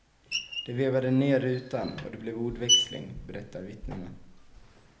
De vevade ner rutan och det blev ordväxling, berättar vittnena.